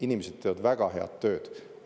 Inimesed teevad väga head tööd.